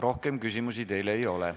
Rohkem küsimusi teile ei ole.